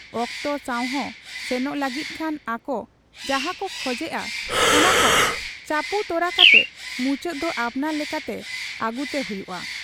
ᱚᱠᱛᱚ ᱥᱟᱶᱦᱚᱸ ᱥᱮᱱᱚᱜ ᱞᱟᱹᱜᱤᱫ ᱠᱷᱟᱱ ᱟᱠᱚ ᱡᱟᱦᱟᱸᱠᱚ ᱠᱷᱚᱡᱮᱜ ᱟ, ᱚᱱᱟᱠᱚ ᱪᱟᱯᱩ ᱛᱚᱨᱟ ᱠᱟᱛᱮ ᱢᱩᱪᱟᱹᱫ ᱫᱚ ᱟᱯᱱᱟᱨ ᱞᱮᱠᱟᱛᱮ ᱟᱹᱜᱩᱛᱮ ᱦᱩᱭᱩᱜ ᱟ ᱾